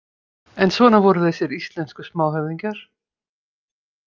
En svona voru þessir íslensku smáhöfðingjar.